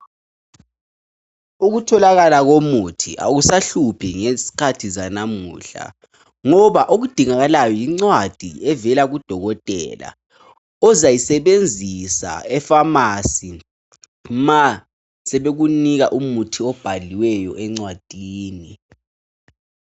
Ukutholakala komuthi akusahluphi ngezikhathi zanamuhla ngoba okudingakalayo yincwadi evela kudokotela ozayisebenzisa eFamasi ma sebekunika umuthi obhaliweyo encwadini.